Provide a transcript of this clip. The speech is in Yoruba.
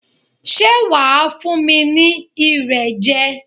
Ṣé wà á fún mi ní Irẹ̀ jẹ?